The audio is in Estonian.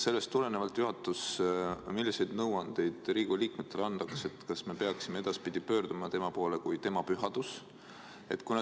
Sellest tulenevalt, milliseid nõuandeid saab juhatus Riigikogu liikmetele anda, kas me peaksime edaspidi pöörduma tema poole kui Tema Pühaduse poole?